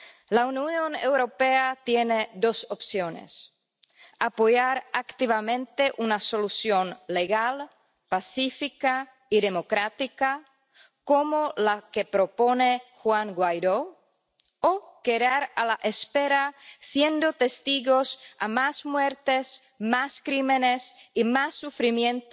La Unión Europea tiene dos opciones apoyar activamente una solución legal, pacífica y democrática, como la que propone Juan Guaidó, o quedar a la espera siendo testigos de más muertes, más crímenes y más sufrimiento